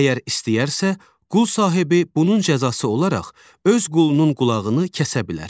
Əgər istəyərsə, qul sahibi bunun cəzası olaraq öz qulunun qulağını kəsə bilər.